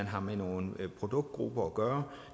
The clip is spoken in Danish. har med nogle produktgrupper at gøre